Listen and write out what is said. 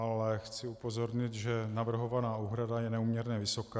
Ale chci upozornit, že navrhovaná úprava je neúměrně vysoká.